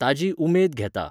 ताजी उमेद घेता